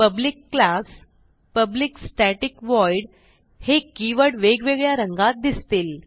public class public static void हे keyword वेगवेगळ्या रंगात दिसतील